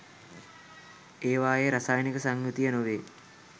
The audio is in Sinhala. ඒවායේ රසායනික සංයුතිය නොවේ.